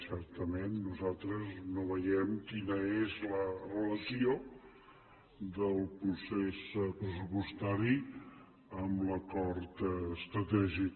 certament nosaltres no veiem quina és la relació del procés pressupostari amb l’acord estratègic